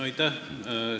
Aitäh!